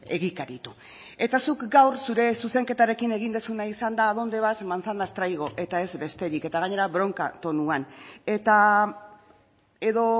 egikaritu eta zuk gaur zure zuzenketarekin egin duzuna izan da a dónde vas manzanas traigo eta ez besterik eta gainera bronka tonuan eta edo